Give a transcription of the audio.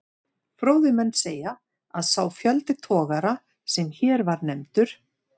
Fróðir menn segja, að sá fjöldi togara, sem hér var nefndur